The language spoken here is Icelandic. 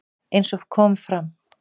Eins og kom fram